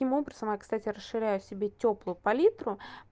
таким образом я кстати расширяю себе тёплую палитру